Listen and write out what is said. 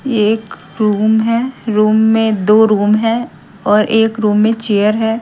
एक रूम है रूम में दो रूम है और एक रूम में चेयर है।